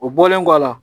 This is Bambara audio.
O bɔlen kɔ a la